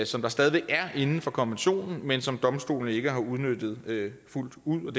som der stadig væk er inden for konventionen men som domstolene ikke har udnyttet fuldt ud og